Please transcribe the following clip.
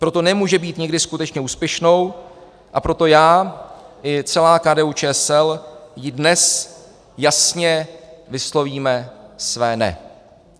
Proto nemůže být nikdy skutečně úspěšnou a proto já i celá KDU-ČSL jí dnes jasně vyslovíme své ne.